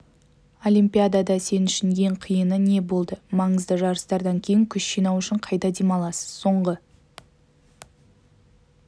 олимпиадада сен үшін ең қиыны не болды маңызды жарыстардан кейін күш жинау үшін қайда демаласыз соңғы